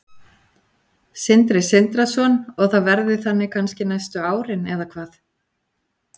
Sindri Sindrason: Og það verði þannig kannski næstu árin eða hvað?